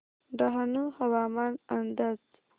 डहाणू हवामान अंदाज